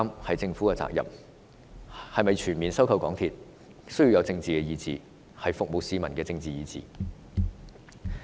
是否全面收購港鐵需要有政治意志，是服務市民的政治意志。